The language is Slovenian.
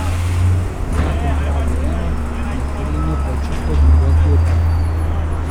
Zakon pravi eno, na terenu pa je čisto druga zgodba.